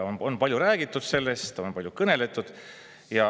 Sellest on palju räägitud, on palju kõneldud.